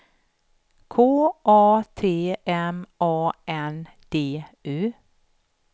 K A T M A N D U